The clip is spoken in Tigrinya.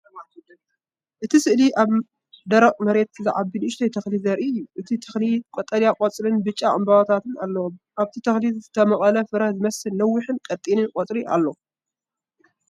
እቲ ስእሊ ኣብ ደረቕ መሬት ዝዓቢ ንእሽቶ ተኽሊ ዘርኢ እዩ። እቲ ተኽሊ ቀጠልያ ቆጽልን ብጫ ዕምባባታትን ኣለዎ። ኣብቲ ተኽሊ ዝተመቕለ ፍረ ዝመስል ነዊሕን ቀጢንን ቆጽሊ ኣሎ።